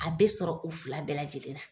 A be sɔrɔ u fila bɛɛ lajɛlen na.